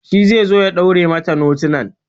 Shi ze zo ya ɗaure mata notunan